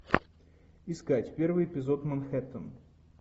искать первый эпизод манхэттен